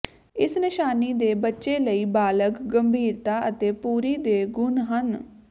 ਇਸ ਨਿਸ਼ਾਨੀ ਦੇ ਬੱਚੇ ਲਈ ਬਾਲਗ ਗੰਭੀਰਤਾ ਅਤੇ ਪੂਰੀ ਦੇ ਗੁਣ ਹੈ